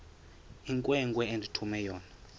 inkwenkwe endithume yona